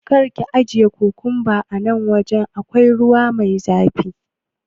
karka ajiye kukumban nan awajan da akwai ruwa, zai ɓaci.